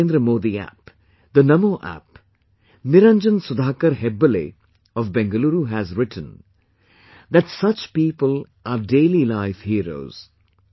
On the Narendra Modi app, the Namo app, Niranjan Sudhaakar Hebbaale of BengaLuuru has written, that such people are daily life heroes